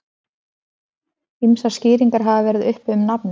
ýmsar skýringar hafa verið uppi um nafnið